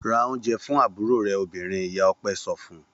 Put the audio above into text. Ra oúnjẹ fún àbúrò rẹ obìnrin! Ìyá Ọpẹ́ so fún un.